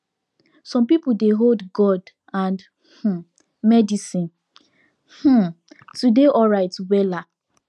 some people dey hold god and um medicine um to dey alright wella